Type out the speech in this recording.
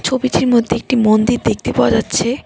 ছবিটির মধ্যে একটি মন্দির দেখতে পাওয়া যাচ্ছে।